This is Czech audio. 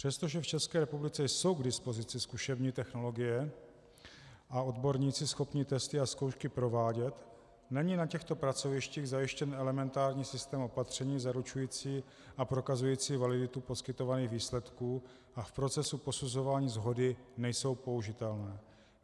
Přestože v České republice jsou k dispozici zkušební technologie a odborníci schopní testy a zkoušky provádět, není na těchto pracovištích zajištěn elementární systém opatření zaručující a prokazující validitu poskytovaných výsledků a v procesu posuzování shody nejsou použitelné.